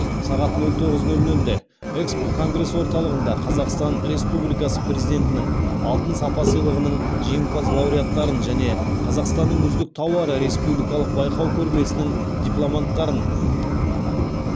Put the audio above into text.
сағат нөл тоғыз нөл нөлде экспо конгресс орталығында қазақстан республикасы президентінің алтын сапа сыйлығының жеңімпаз лауреаттарын және қазақстанның үздік тауары республикалық байқау көрмесінің дипломанттарын